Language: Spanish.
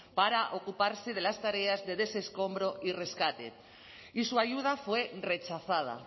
para ocuparse de las tareas de desescombro y rescate y su ayuda fue rechazada